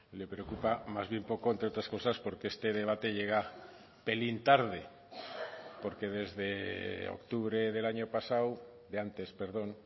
le preocupa más bien poco entre otras cosas porque este debate llega pelín tarde porque desde octubre del año pasado de antes perdón